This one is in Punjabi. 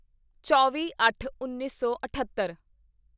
ਚੌਵੀਅੱਠਉੱਨੀ ਸੌ ਅਠੱਤਰ